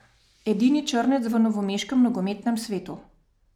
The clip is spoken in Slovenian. Edini črnec v novomeškem nogometnem svetu.